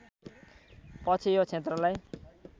पछि यो क्षेत्रलाई